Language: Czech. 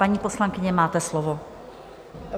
Paní poslankyně, máte slovo.